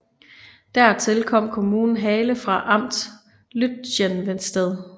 Dertil kom kommunen Haale fra Amt Lütjenwestedt